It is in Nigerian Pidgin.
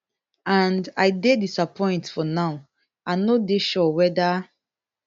and i dey disappoint for now i no dey sure weda